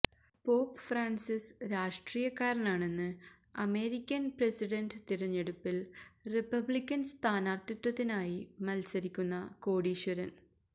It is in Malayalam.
പോപ്പ് ഫ്രാന്സിസ് രാഷ്ട്രീയക്കാരനാണെന്ന് അമേരിക്കന് പ്രസിഡന്റ് തിരഞ്ഞെടുപ്പില് റിപബ്ലിക്കന് സ്ഥാനാര്ഥിത്വത്തിനായി മല്സരിക്കുന്ന കോടീശ്വരന്